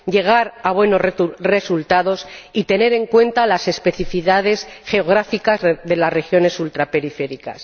llegar a buenos resultados y tener en cuenta las especificidades geográficas de las regiones ultraperiféricas.